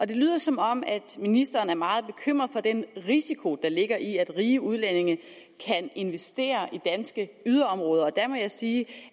det lyder som om ministeren er meget bekymret for den risiko der ligger i at rige udlændinge kan investere i danske yderområder og der må jeg sige